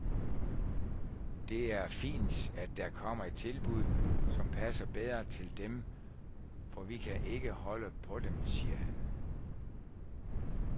Det er fint, at der kommer et tilbud, som passer bedre til dem, for vi kan ikke holde på dem, siger han.